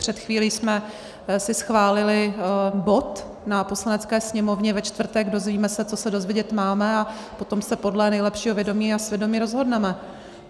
Před chvílí jsme si schválili bod na Poslanecké sněmovně ve čtvrtek, dozvíme se, co se dozvědět máme, a potom se podle nejlepšího vědomí a svědomí rozhodneme.